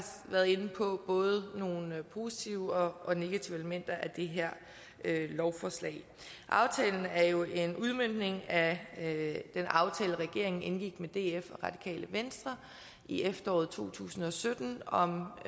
været inde på både nogle positive og negative elementer i det her lovforslag aftalen er jo en udmøntning af den aftale regeringen indgik med df og radikale venstre i efteråret to tusind og sytten om